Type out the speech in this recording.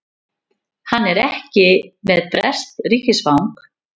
Hann er ekki með breskt ríkisfang